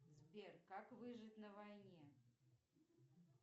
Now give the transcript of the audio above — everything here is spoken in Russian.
сбер как выжить на войне